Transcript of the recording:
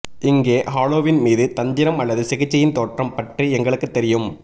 இங்கே ஹாலோவீன் மீது தந்திரம் அல்லது சிகிச்சையின் தோற்றம் பற்றி எங்களுக்குத் தெரியும்